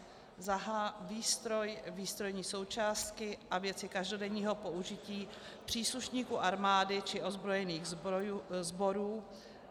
h) výstroj, výstrojní součástky a věci každodenního použití příslušníků armády či ozbrojených sborů,